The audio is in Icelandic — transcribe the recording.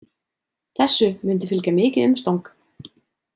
Þessu mundi fylgja mikið umstang.